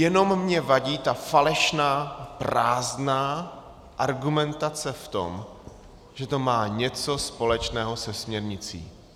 Jenom mi vadí ta falešná, prázdná argumentace v tom, že to má něco společného se směrnicí.